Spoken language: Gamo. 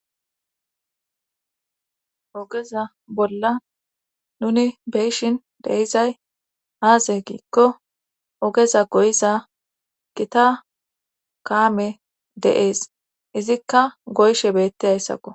ogeza bolla nuni beyshin deyizay aaze giikko ogeza goyiza gita kaame de7ees izikka goyshe beettizayssakko